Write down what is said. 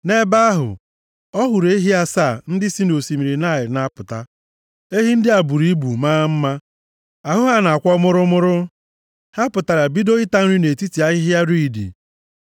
Nʼebe ahụ, ọ hụrụ ehi asaa ndị si nʼosimiri Naịl na-apụta. Ehi ndị a buru ibu, maa mma. Ahụ ha na-akwọ mụrụmụrụ. Ha pụtara, bido ịta nri nʼetiti ahịhịa riidi.